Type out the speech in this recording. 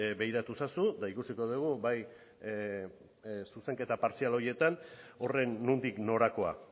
begiratu ezazu eta ikusiko dugu bai zuzenketa partzial horietan horren nondik norakoa